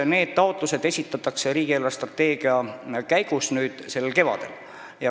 Need taotlused esitatakse riigi eelarvestrateegia koostamise käigus sellel kevadel.